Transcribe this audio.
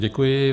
Děkuji.